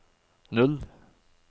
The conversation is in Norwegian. null